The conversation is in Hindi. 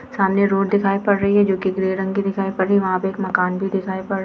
सामने रोड दिखाई पड़ रही है जो की ग्रे रंग की दिखाई पड़े वहां पर एक मकान भी दिखाई पड़ रहा --